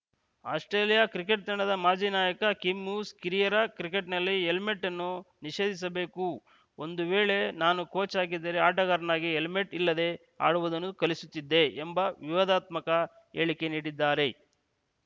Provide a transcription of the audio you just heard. Australia cricket ತಂಡದ ಮಾಜಿ ನಾಯಕ ಕಿಮ್‌ ಹ್ಯೂಸ್‌ ಕಿರಿಯರ ಕ್ರಿಕೆಟ್‌ನಲ್ಲಿ ಹೆಲ್ಮೆಟ್‌ ಅನ್ನು ನಿಷೇಧಿಸಬೇಕು ಒಂದು ವೇಳೆ ನಾನು ಕೋಚ್‌ ಆಗಿದ್ದರೆ ಆಟಗಾರರಿಗೆ ಹೆಲ್ಮೆಟ್‌ ಇಲ್ಲದೆ ಆಡುವುದನ್ನು ಕಲಿಸುತ್ತಿದ್ದೆ ಎಂಬ ವಿವಾದಾತ್ಮಕ ಹೇಳಿಕೆ ನೀಡಿದ್ದಾರೆ